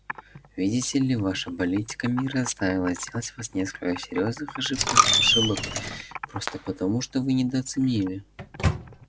видите ли ваша политика мира заставила сделать вас несколько серьёзных ошибок просто потому что вы недооценили